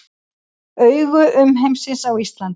Augu umheimsins á Íslandi